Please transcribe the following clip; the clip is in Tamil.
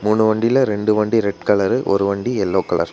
மூணு வண்டியில ரெண்டு வண்டி ரெட் கலரு ஒரு வண்டி எல்லோ கலர் .